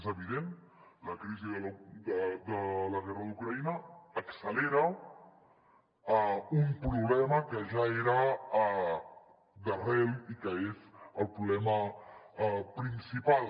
és evident la crisi de la guerra d’ucraïna accelera un problema que ja era d’arrel i que és el problema principal